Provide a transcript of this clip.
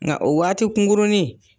Nka o waati kungurunnin.